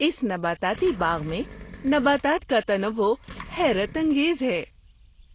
اس نباتاتی باغ میں نباتات کا تنوع حیرت انگیز ہے!